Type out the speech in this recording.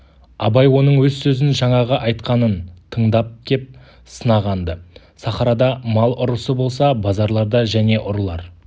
абай оның өз сөзін жаңағы айтқанын тыңдап кеп сынаған-ды сахарада мал ұрысы болса базарларда және ұрылар